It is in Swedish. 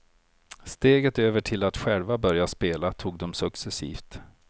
Steget över till att själva börja spela tog de successivt.